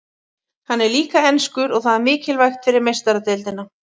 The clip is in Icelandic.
Hann er líka enskur og það er mikilvægt fyrir Meistaradeildina.